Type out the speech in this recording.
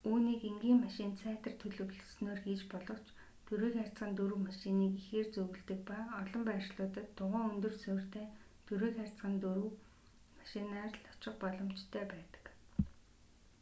үүнийг энгийн машинд сайтар төлөвлөснөөр хийж болох ч 4х4 машиныг ихээр зөвлөдөг ба олон байршлуудад дугуйн өндөр суурьтай 4х4 машинаар л очих боломжтой байдаг